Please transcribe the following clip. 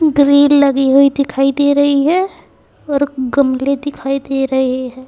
Grill लगी हुई दिखाई दे रही हैं और गमले दिखाई दे रहे है।